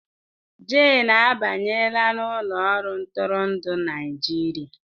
Jane abanyela n'ụlọ ọrụ ntụrụndụ Naịjirịa